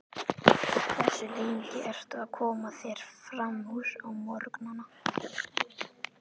Hversu lengi ertu að koma þér framúr á morgnanna?